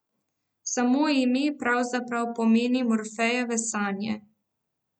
Samo ime pravzaprav pomeni Morfejeve sanje.